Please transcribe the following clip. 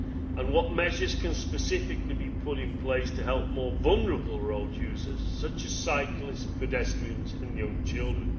and what measures can specifically be put in place to help more vulnerable road users such as cyclists, pedestrians and young children?